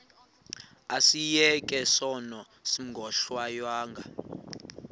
asiyeke sono smgohlwaywanga